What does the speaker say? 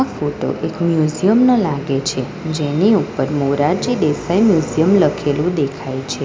Photo એક museum નો લાગે છે જેની ઉપર મોરારજી દેસાઈ મ્યુઝિયમ લખેલું દેખાય છે.